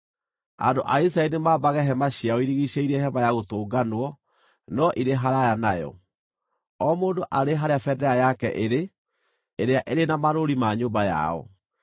“Andũ a Isiraeli nĩmambage hema ciao irigiicĩirie Hema-ya-Gũtũnganwo no irĩ haraaya nayo, o mũndũ arĩ harĩa bendera yake ĩrĩ ĩrĩa ĩrĩ na marũũri ma nyũmba yao.”